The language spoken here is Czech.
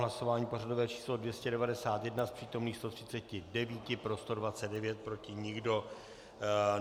Hlasování pořadové číslo 291, z přítomných 139, pro 129, proti nikdo.